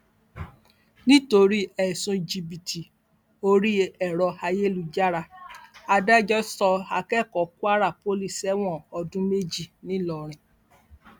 nítorí ẹsùn jìbìtì orí ẹrọ ayélujára adájọ sọ akẹkọọ kwara poli sẹwọn ọdún méjì ńìlọrin